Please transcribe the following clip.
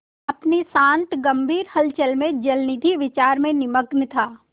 अपनी शांत गंभीर हलचल में जलनिधि विचार में निमग्न था